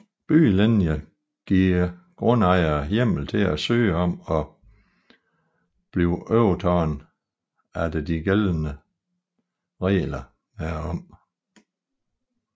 Byggelinjer giver grundejere hjemmel til at søge om at blive overtaget efter de gældende regler herom